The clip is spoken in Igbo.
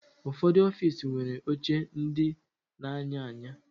Ụfọdụ ọfiisi nwere oche ndị na-anya anya